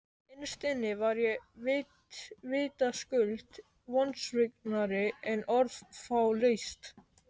Innst inni var ég vitaskuld vonsviknari en orð fá lýst.